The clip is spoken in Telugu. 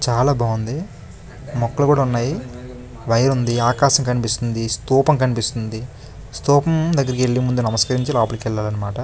చాలా బాగుంది మొక్కలు కూడ ఉన్నాయి. వైర్ ఉంది. ఆకాశం కనిపిస్తుంది. స్థూపం కనిపిస్తుంది. స్థూపం దగ్గరికి ఎల్లి ముందు నమస్కరించి లోపలికి వెళ్ళలమాట.